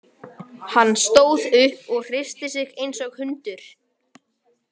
Hann stóð upp og hristi sig eins og hundur.